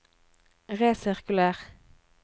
resirkuler